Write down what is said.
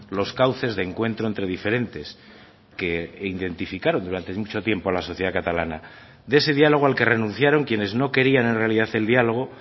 los cauces de encuentro entre diferentes que identificaron durante mucho tiempo a la sociedad catalana de ese diálogo al que renunciaron quienes no querían en realidad el diálogo